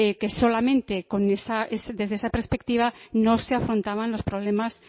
que solamente desde esa perspectiva no se afrontaban los problemas